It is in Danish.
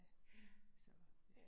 Ja, så